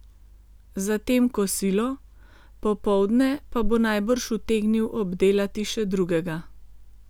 Zatem kosilo, popoldne pa bo najbrž utegnil obdelati še drugega.